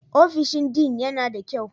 Ofishin Dean yana da kyau?